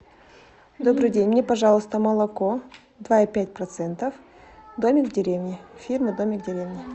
добрый день мне пожалуйста молоко два и пять процентов домик в деревне фирмы домик в деревне